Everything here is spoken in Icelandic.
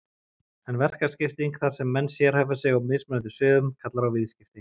En verkaskipting, þar sem menn sérhæfa sig á mismunandi sviðum, kallar á viðskipti.